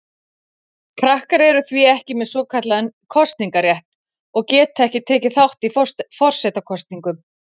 Krakkar eru því ekki með svokallaðan kosningarétt og geta ekki tekið þátt í forsetakosningum.